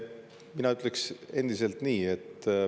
Mina ütlen endiselt nii.